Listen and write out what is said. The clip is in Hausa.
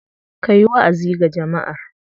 Ka yi wa'azi ga jama'ar.